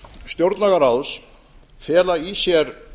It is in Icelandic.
stjórnlagaráðs fela í sér